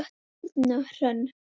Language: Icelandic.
Þín Birna Hrönn.